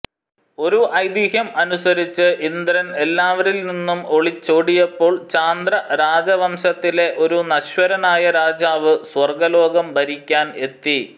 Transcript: ഒരു ഐതിഹ്യം അനുസരിച്ച് ഇന്ദ്രൻ എല്ലാവരിൽ നിന്നും ഒളിച്ചോടിയപ്പോൾ ചാന്ദ്ര രാജവംശത്തിലെ ഒരു നശ്വരനായ രാജാവ് സ്വർഗ്ഗലോകം ഭരിക്കാൻ എത്തി